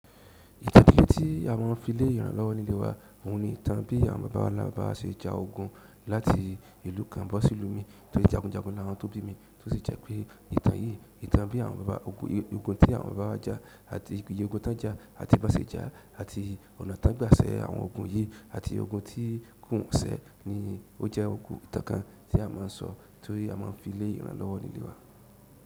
Ìtẹ́bí tí a máà ń fi lé ìran lọ́wọ́ nílé wa, òun ni ìtàn bí àwọn bàbá ńlá baba wa se ja ogun láti ìlú kan bọ́ sí ìlú mi torí jagun jagun láwọn tó bí mi, tó sì jẹ́ pé ìtàn yìí, ìtàn bí àwọn bàbá ogun, ogun tí àwọn bàbá wa ja àti iye ogun tán jà àti bán se jà àti ọ̀nà tán gbà sẹ àwọn ogun yìí àti ogun tí kò sẹ́ ni ó jẹ́ ogun ìtàn kan tí a máà ń sọ torí a máà ń fi lé ìran lọ́wọ́ nílé wa.